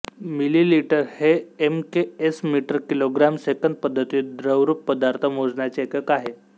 millilitre हे M K S metre kilogram सेकंद पद्धतीत द्रवरुप पदार्थ मोजण्याचे एकक आहे